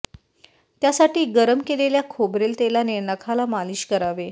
त्यासाठी गरम केलेल्या खोबरेल तेलाने नखाला मालीश करावे